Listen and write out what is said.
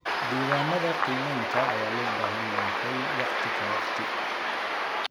Diiwaanada qiimeynta ayaa loo baahan yahay waqti ka waqti.